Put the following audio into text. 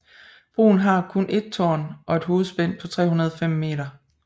Broen har kun et tårn og et hovedspænd på 305 meter